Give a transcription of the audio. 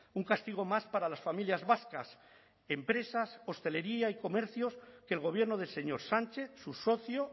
un castigo más para las familias vascas empresas hostelería y comercios que el gobierno del señor sánchez su socio